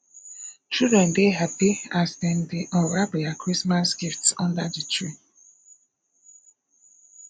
children dey happy as dem dey unwrap their christmas gifts under the tree